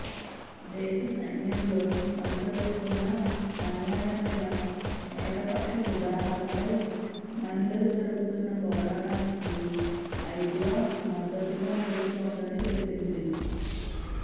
దేశ సైన్యంలో అనుసరిస్తున్న అన్యాయమైన ఏకపక్ష విధానాలపై మహిళలు జరుపుతున్న పోరాటానికి ఐద్వా మద్దతుగా నిలుస్తోందని తెలిపింది